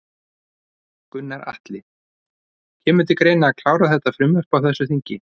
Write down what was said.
Gunnar Atli: Kemur til greina að klára þetta frumvarp á þessu þingi?